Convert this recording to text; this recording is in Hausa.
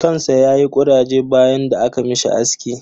kan sa yayi kuraje bayan da aka mishi aski.